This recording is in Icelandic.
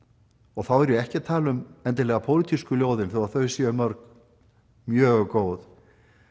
og þá er ég ekki að tala um endilega pólitísku ljóðin þó þau séu mörg mjög góð